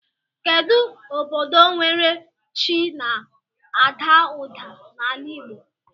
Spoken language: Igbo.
Kedu ododo nwere chi na ada uda n'ala igbo?